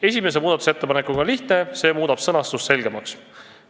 Esimesega on lihtne, see muudab sõnastuse selgemaks.